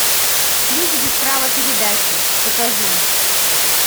ключ без права передачи покажи